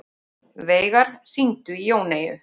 Veigar, hringdu í Jóneyju.